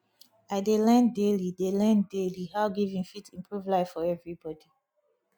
i dey learn daily dey learn daily how giving fit improve life for everybody